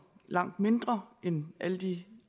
langt mindre end alle de